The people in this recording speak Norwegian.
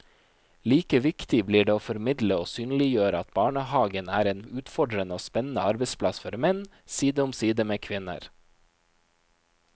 Like viktig blir det å formidle og synliggjøre at barnehagen er en utfordrende og spennende arbeidsplass for menn, side om side med kvinner.